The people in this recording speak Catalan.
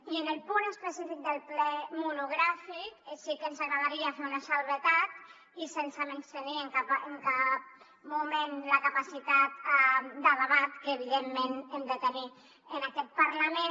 i en el punt específic del ple monogràfic sí que ens agradaria fer una excepció i sense menystenir en cap moment la capacitat de debat que evidentment hem de tenir en aquest parlament